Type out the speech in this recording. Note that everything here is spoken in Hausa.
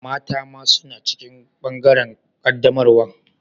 Mata ma suna cikin bangaren qaddamarwan?